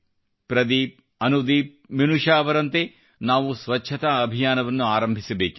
ಪ್ರದೀಪ್ ಅನುದೀಪ್ಮೀನುಷಾ ಅವರಂತೆ ನಾವು ಸ್ವಚ್ಛತಾ ಅಭಿಯಾನವನ್ನು ಆರಂಭಿಸಬೇಕಿದೆ